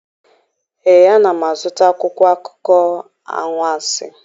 Ee, ana m azụta akwụkwọ akụkọ anwansi.